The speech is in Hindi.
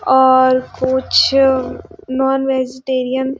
और कुछ नॉन- वेजीटेरियन --